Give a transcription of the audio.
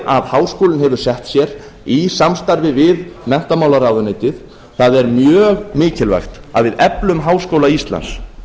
sem háskólinn hafur sett sér í samstarfi við menntamálaráðuneytið það er mjög mikilvægt að við eflum háskóla íslands